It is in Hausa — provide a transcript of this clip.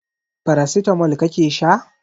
Paracetamol kake sha?